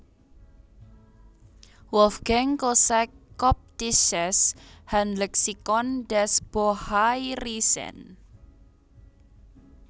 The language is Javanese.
Wolfgang Kosack Koptisches Handlexikon des Bohairischen